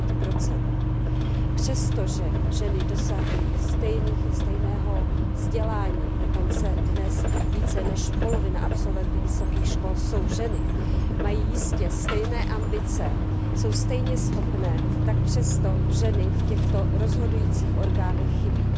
9 Přestože ženy dosahují stejného vzdělání, dokonce dnes více než polovina absolventů vysokých škol jsou ženy, mají jistě stejné ambice, jsou stejně schopné, tak přesto ženy v těchto rozhodujících orgánech chybí.